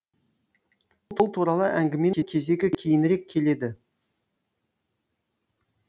ол туралы әңгіменің кезегі кейінірек келеді